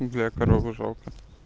бля корову жалко